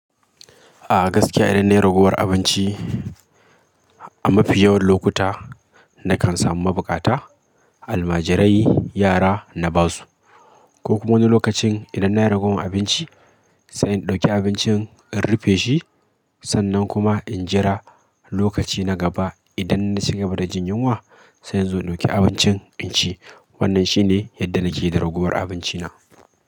A gaskiya idan na yi ragowar abinci a mafi yawan lokuta na kan samu mabukata, almajirai, yara na ba su. Ko kuma wani lokacin idan na yi ragowar abinci sai in ɗauki abincin in rufe shi, sannan kuma in jira lokaci na gaba idan na cigaba da jin yunwa sai in zo in ɗauki abincin in ci. Wannan shi ne yadda nake da ragowar abinci na.